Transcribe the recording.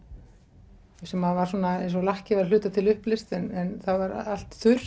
sem var svona eins og lakkið væri að hluta til uppleyst en það var allt þurrt